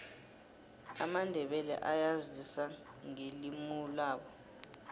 amandebele ayazisa ngelimulabo